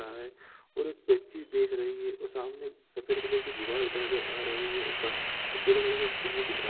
रहा है और बच्ची देख रही है सामने सफेद कलर की दीवाल नजर आ रही है पीले कलर का स्टूल भी दिख रहा है।